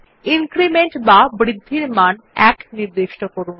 increment বা বৃদ্ধির মান 1 নির্দিষ্ট করুন